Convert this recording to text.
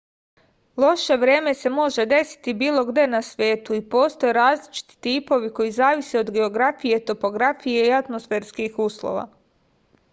loše vreme se može desiti bilo gde na svetu i postoje različiti tipovi koji zavise od geografije topografije i atmosferskih uslova